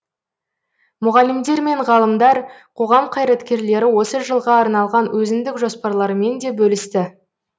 мұғалімдер мен ғалымдар қоғам қайраткерлері осы жылға арналған өзіндік жоспарларымен де бөлісті